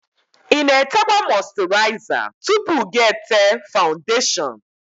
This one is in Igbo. Ịna-etekwa mọsturiza tupu ga-ete fawundeshon?